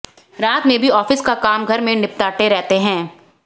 रात में भी ऑफिस का काम घर में निपटाते रहते हैं